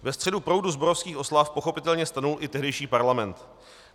Ve středu proudu zborovských oslav pochopitelně stanul i tehdejší parlament.